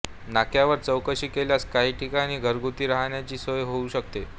नाक्यावर चौकशी केल्यास काही ठिकाणी घरगुती राहण्याची सोय होऊ शकते